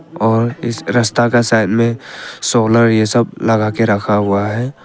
और इस रास्ता का साइड में सोलर ये सब लगा के रखा हुआ है।